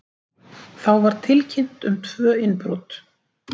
Þá var tilkynnt um tvö innbrot